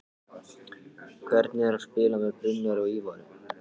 Hvernig er að spila með Brynjari og Ívari?